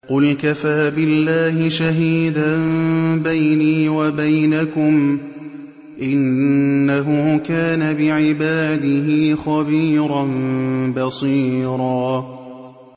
قُلْ كَفَىٰ بِاللَّهِ شَهِيدًا بَيْنِي وَبَيْنَكُمْ ۚ إِنَّهُ كَانَ بِعِبَادِهِ خَبِيرًا بَصِيرًا